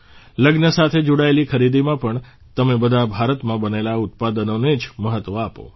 લગ્ન સાથે જોડાયેલી ખરીદીમાં પણ તમે બધા ભારતમાં બનેલા ઉત્પાદનોને જ મહત્ત્વ આપો